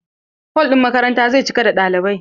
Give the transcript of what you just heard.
Hol ɗin makarantan zai cika da ɗalibai.